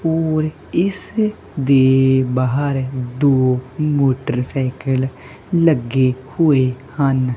ਔਰ ਇਸ ਦੇ ਬਾਹਰ ਦੋ ਮੋਟਰਸਾਈਕਲ ਲੱਗੇ ਹੋਏ ਹਨ।